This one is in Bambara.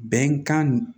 Bɛnkan